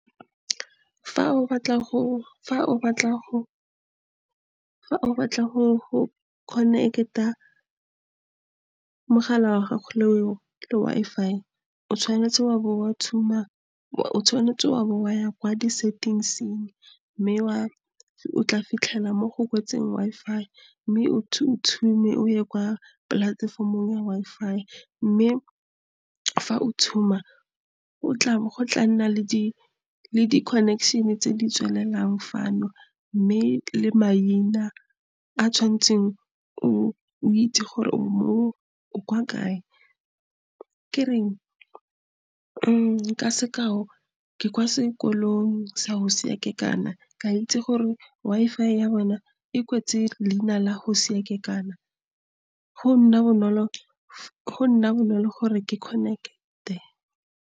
fa o batla go connect-a mogala wa gago le Wi-Fi o tshwanetse wa bo wa ya kwa di settings-ing mme o tla fitlhela mo go kwetsweng Wi-Fi, mme o ye kwa polatefomong ya Wi-Fi mme fa o o go tla nna le di-connection tse di tswelelang fano mme le maina a tshwanetseng o itse gore o mo kwa kae, ka sekao ke kwa sekolong sa Hosea Kekana kea itse gore Wi-Fi ya bona e kwetswe leina la Hosea Kekana go nna bonolo gore ke connect-e.